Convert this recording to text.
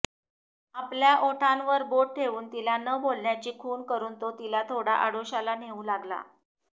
आपल्या ओठांवर बोट ठेऊन तिला न बोलण्याची खुण करून तो तिला थोडा आडोश्याला नेऊ लागला